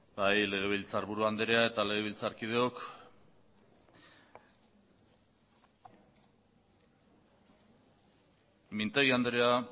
bai legebiltzarburu andrea eta legebiltzarkideok mintegi andrea